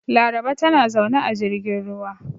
Laraba tana zaune a jirgin ruwa.